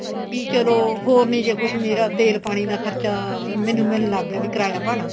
B ਚਲੋ ਹੋਰ ਨੀ ਜੇ ਕੁੱਝ ਮੇਰਾ ਤੇਲ ਪਾਣੀ ਦਾ ਖਰਚਾ ਮੈਨੂੰ ਮੈਨੂੰ ਲੱਗ ਗਿਆ ਵੀ ਕਰਾਇਆ ਭਾੜਾ